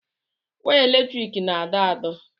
Waya eletriki na-adọ adọ̀.